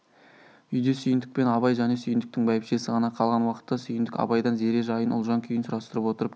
үйде сүйіндік пен абай және сүйіндіктің бәйбішесі ғана қалған уақытта сүйіндік абайдан зере жайын ұлжан күйін сұрастырып отырып